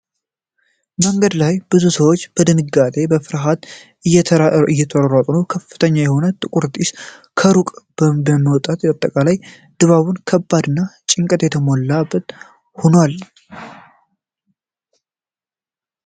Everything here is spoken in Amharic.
መንገድ ላይ ብዙ ሰዎች በድንጋጤና በፍርሃት እየተሯሯጡ ነው። ከፍተኛ የሆነ ጥቁር ጢስ ከሩቅ በመውጣቱ አጠቃላይ ድባቡ በከባድ ጭንቀት የተሞላ ሆኖአል።